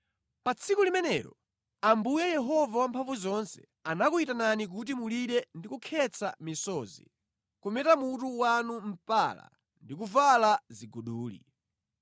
Pa tsiku limenelo, Ambuye Yehova Wamphamvuzonse anakuyitanani kuti mulire ndi kukhetsa misozi; kumeta mutu wanu mpala ndi kuvala ziguduli.